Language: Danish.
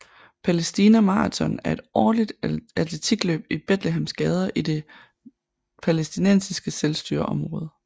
Palæstina Maraton er et årligt atletikløb i Betlehems gader i de Det palæstinensiske selvstyreområde